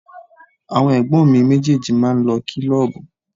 Àwọn ẹ̀gbọ́n mi méjèèjì máa ń lọ kílọ́ọ̀bù.